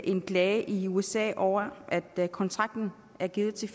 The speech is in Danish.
en klage i usa over at kontrakten er givet til